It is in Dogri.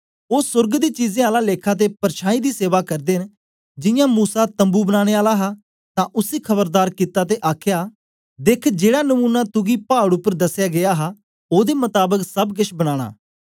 ओ सोर्ग दी चीजें आला लेखा ते परछाईं दी सेवा करदे न जियां मूसा तम्बू बनाने आला हा तां उसी खबरदार कित्ता ते आखया देख जेड़ा नमूना तुगी पाड़ उपर दसया गीया हा ओदे मताबक सब केछ बनानां